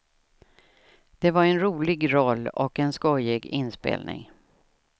Det var en rolig roll och en skojig inspelning.